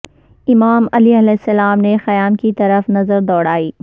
امام علیہ السلام نے خیام کی طرف نظر دوڑائی